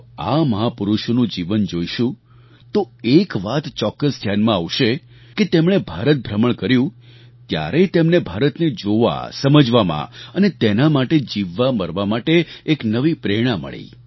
જો આ મહાપુરુષોનું જીવન જોઈશું તો એક વાત ચોક્કસ ધ્યાનમાં આવશે કે તેમણે ભારત ભ્રમણ કર્યું ત્યારે તેમને ભારતને જોવાસમજવામાં અને તેના માટે જીવવામરવા માટે એક નવી પ્રેરણા મળી